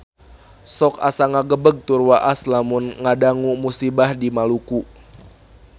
Sok asa ngagebeg tur waas lamun ngadangu musibah di Maluku